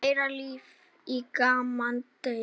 Meira líf í gamla daga?